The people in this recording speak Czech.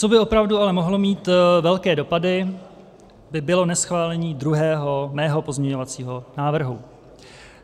Co by opravdu ale mohlo mít velké dopady, by bylo neschválení mého druhého pozměňovacího návrhu.